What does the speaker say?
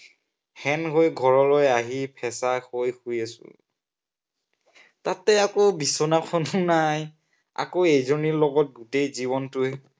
শেন হৈ ঘৰলৈ আহি ফেঁচা হৈ শুই আছো। তাতে আকৌ বিচনাখনো নাই। আকৌ এইজনীৰ লগত গোটেই জীৱনটোৱেই